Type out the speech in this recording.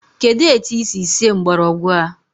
Kedụ etu i si sie mgbọrọgwụ a?